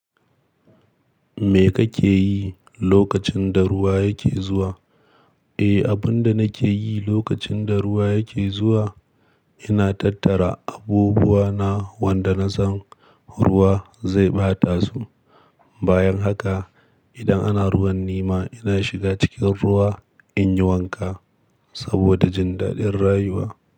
Me kake yi lokacin da ruwa yake zuwa? Eh, abin da nake yi lokacin da ruwa yake zuwa, ina tattara abubuwa na wanda na san ruwa zai ɓata su. Bayan haka, idan ana ruwan nima, ina shiga cikin ruwa in yi wanka saboda jin daɗin rayuwa.